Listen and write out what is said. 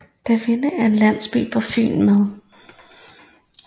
Davinde er en landsby på Fyn med